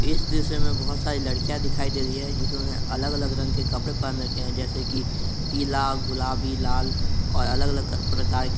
इस दृश्य में बहुत सारी लड़कियाँ दिखाई दे रही हैं जिन्होंने अलग अलग रंग के कपड़े पहन रखे हैं जैसे कि पीला गुलाबी लाल और अलग अलग प्रकार के।